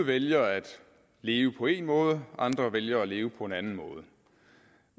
vælger at leve på en måde andre vælger at leve på en anden måde